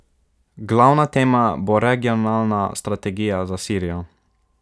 Glavna tema bo regionalna strategija za Sirijo.